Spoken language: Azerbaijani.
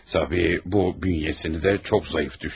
Əlbəttə, bu, bədənini də çox zəif salıb.